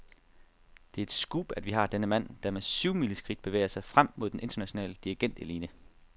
Det er et scoop, at vi har denne mand, der med syvmileskridt bevæger sig frem mod den internationale dirigentelite.